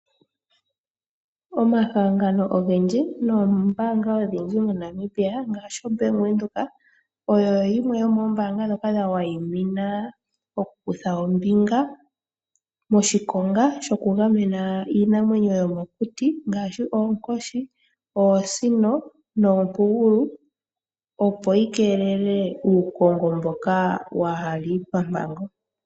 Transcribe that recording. Omahangano ongendji nombanga odhindji moNamibia ngashi o Bank Widheok oyo yimwe yo membanga dhoka dha wayimina mokukutha ombinga moshikonga shoku gamena Iinamwenyo yomokuti ngashi, ookoshi, oosino, noopugulu opo yikelele uukongo mboka wahali papango.